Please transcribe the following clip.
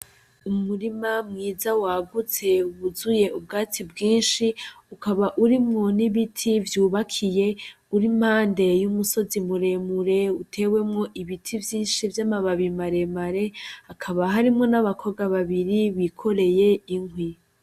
Umurima mwiza wagutse wuzuye ubwatsi bwinshi ukaba urimwo n'ibiti vyubakiye uri impande y'umusozi muremure utewemwo ibiti vyinshi vy'amababi maremare akaba harimwo n'abakobwa babiri bikoreye inkwi.